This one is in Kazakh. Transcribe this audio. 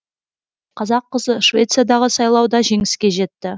қазақ қызы швециядағы сайлауда жеңіске жетті